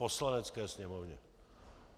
Poslanecké sněmovně.